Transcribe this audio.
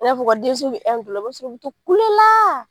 I n'a f'u ka denso bi la i bi to kule la.